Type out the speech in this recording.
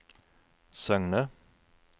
Søgne